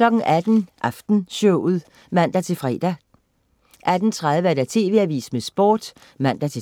18.00 Aftenshowet (man-fre) 18.30 TV AVISEN med Sport (man-tors)